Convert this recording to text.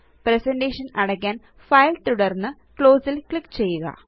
presentation അടയ്ക്കാന് file തുടര്ന്ന് close ല് ക്ലിക്ക് ചെയ്യുക